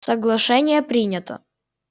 соглашение принято